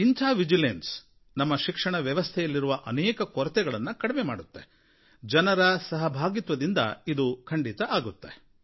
ಇಂಥ ವಿಚಕ್ಷಣೆ ನಮ್ಮ ಶಿಕ್ಷಣ ವ್ಯವಸ್ಥೆಯಲ್ಲಿರುವ ಅನೇಕ ಕೊರತೆಗಳನ್ನು ಕಡಿಮೆ ಮಾಡುತ್ತೆ ಜನರ ಸಹಭಾಗಿತ್ವದಿಂದ ಇದು ಖಂಡಿತ ಆಗುತ್ತೆ